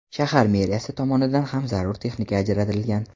Shahar meriyasi tomonidan ham zarur texnika ajratilgan.